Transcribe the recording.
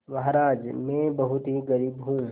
महाराज में बहुत ही गरीब हूँ